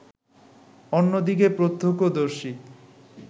অন্যদিকে প্রত্যক্ষদর্শী